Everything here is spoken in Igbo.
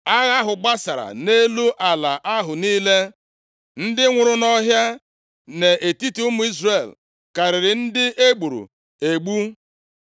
Agha ahụ gbasara nʼelu ala ahụ niile. Ndị nwụrụ nʼọhịa nʼetiti ụmụ Izrel karịrị ndị e gburu egbu.